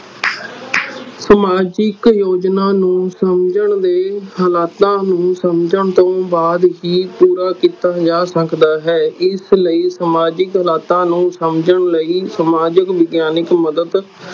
ਸਮਾਜਿਕ ਝੋਜਨਾ ਨੂੰ ਸਮਝਣ ਦੇ ਹਲਾਤਾਂ ਨੂੰ ਸਮਝਣ ਤੋਂ ਬਾਅਦ ਹੀ ਪੂਰਾ ਕੀਤਾ ਜਾ ਸਕਦਾ ਹੈ ਇਸਲਈ ਸਮਾਜਿਕ ਹਲਾਤਾਂ ਨੂੰ ਸਮਝਣ ਲਈ ਸਮਾਜਿਕ ਵਿਗਿਆਨਿਕ ਮਦਦ